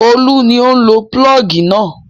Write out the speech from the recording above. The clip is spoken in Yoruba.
Olú ni ó ń lo pulọ́ọ́gì náà.